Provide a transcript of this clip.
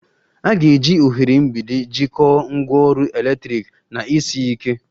A ga-eji oghere mgbidi jikọọ ngwaọrụ eletrik na isi iyi ike